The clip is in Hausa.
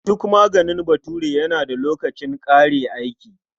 Duk maganin Bature yana da lokacin ƙare aiki.